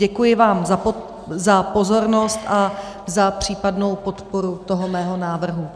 Děkuji vám za pozornost a za případnou podporu toho mého návrhu.